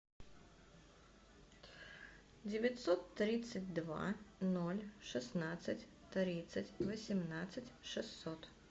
девятьсот тридцать два ноль шестнадцать тридцать восемнадцать шестьсот